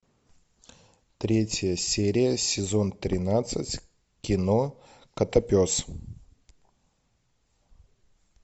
третья серия сезон тринадцать кино котопес